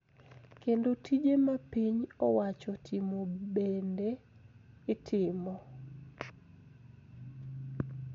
Kendo tije ma piny owacho timo bende itimo.